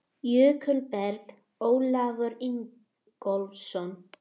Jökulberg: Ólafur Ingólfsson.